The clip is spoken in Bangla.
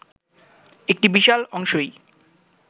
একটা বিশাল অংশই